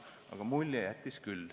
Aga mulje jättis see küll.